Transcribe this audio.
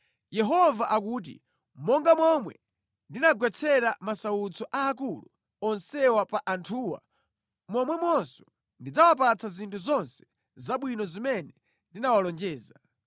“Yehova akuti: Monga momwe ndinagwetsera masautso aakulu onsewa pa anthuwa, momwemonso ndidzawapatsa zinthu zonse zabwino zimene ndinawalonjeza.